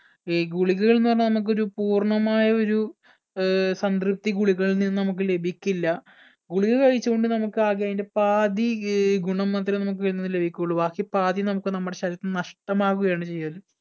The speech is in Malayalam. ഈ ഗുളികകൾ എന്ന് പറഞ്ഞ നമ്മക്കൊരു പൂർണ്ണമായൊരു ഏർ സംതൃപ്തി ഗുളികകളിൽ നിന്നും നമ്മക്ക് ലഭിക്കില്ല ഗുളിക കഴിച്ചോണ്ട് നമ്മക് ആകെ അയിന്റെ പാതി ഏർ ഗുണം മാത്രേ നമുക്ക് ആയിലിന്ന് ലഭിക്കുള്ളു ബാക്കി പാതി നമുക്ക് നമ്മുടെ ശരീരത്തിൽ നിന്ന് നഷ്ടമാവുകയാണ് ചെയ്യല്